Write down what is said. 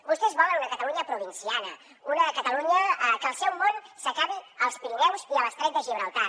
vostès volen una catalunya provinciana una catalunya que el seu món s’acabi als pirineus i a l’estret de gibraltar